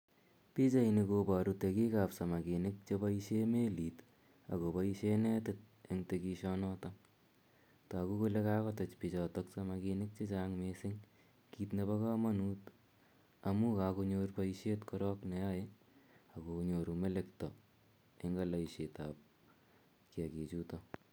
Pichaini koparu tegik sp sakiminik che paishe melit ak kopaishe netit eng tekishanoton. Tagu kole kakotech pik samakinik che chang' missing' kiit nepa kamanut amu kakonyor poishet korok ne yae ak konyoru melekta eng' aldaishet ap kiakichutok.